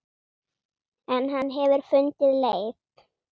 En hann hefur fundið leið.